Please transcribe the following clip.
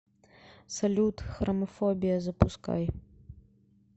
салют храмафобия запускай